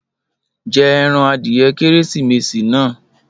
Jẹ ẹran adìẹ Kérésìmesì náà